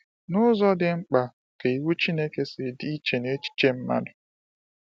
N’ụzọ dị mkpa ka iwu Chineke si dị iche na echiche mmadụ?